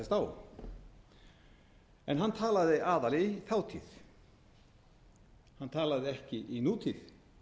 á en hann talaði aðallega í þátíð hann talaði ekki í nútíð